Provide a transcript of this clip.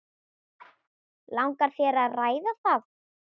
Langar þér að ræða það?